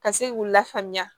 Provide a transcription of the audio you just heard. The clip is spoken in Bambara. Ka se k'u lafaamuya